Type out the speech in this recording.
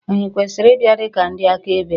Ànyị kwesịrị ịbịa dị ka ndị akaebe?